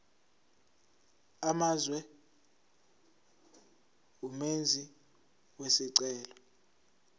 amazwe umenzi wesicelo